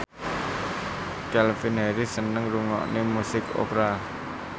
Calvin Harris seneng ngrungokne musik opera